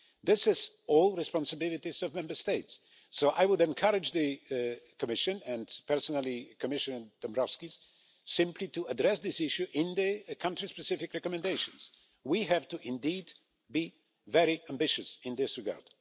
These are all responsibilities of Member States, so I would encourage the Commission, and personally Commissioner Dombrovskis, simply to address this issue in the country specific recommendations. We have to indeed be very ambitious in this regard.